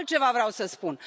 Altceva vreau să spun.